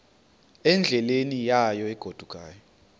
endleleni yayo egodukayo